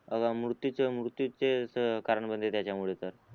मृत्यूच मृत्यूचेच कारण बनते त्याचा मुळे तर